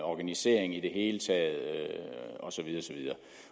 organisering i det hele taget